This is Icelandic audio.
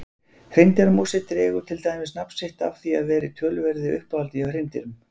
Hreindýramosi dregur til dæmis nafn sitt af því að vera í töluverðu uppáhaldi hjá hreindýrum.